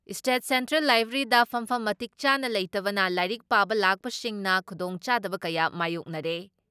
state central ꯂꯥꯏꯕ꯭ꯔꯦꯔꯤꯗ ꯐꯝꯐꯝ ꯃꯇꯤꯛ ꯆꯥꯅ ꯂꯩꯇꯕꯅ ꯂꯥꯏꯔꯤꯛ ꯄꯥꯕ ꯂꯥꯛꯄꯁꯤꯡꯅ ꯈꯨꯗꯣꯡꯆꯥꯗꯕ ꯀꯌꯥ ꯃꯥꯌꯣꯛꯅꯔꯦ